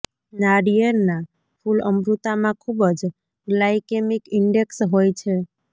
નાળિયેરના ફૂલ અમૃતમાં ખૂબ જ ગ્લાયકેમિક ઇન્ડેક્સ હોય છે